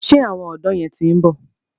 Ṣé àwọn ọ̀dọ̀ yẹn ti ń bọ̀?